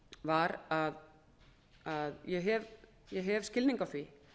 var að ég hef skilning á því